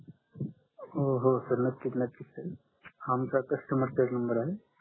हो हो सर नक्की नक्कीच हा आमचा कस्टमर केअर नंबर आहे